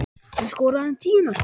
Hann skoraði tíu mörk.